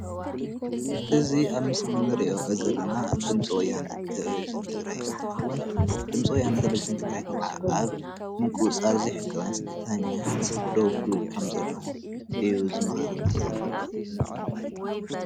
እዚ ኣብ ምስሊ እንሪኦ ዘለና ድምፂ ወያነ ተለቪዥን ትግራይ እንትከውን፣ ድምፂ ወያነ ቴለቪዥን ትግራይ ከዓ ኣብ ምቁፅፃር ዘይሕጋውያን ስደተኛታት ደው ክብል ከም ዘለዎ እዩ ዝመክረና ዘሎ፡፡